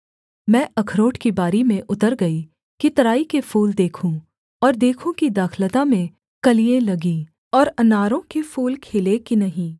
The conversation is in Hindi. मैं अखरोट की बारी में उत्तर गई कि तराई के फूल देखूँ और देखूँ की दाखलता में कलियाँ लगीं और अनारों के फूल खिले कि नहीं